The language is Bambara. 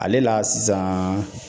Ale la sisan.